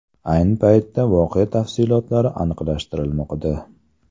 Ayni paytda voqea tafsilotlari aniqlashtirilmoqda.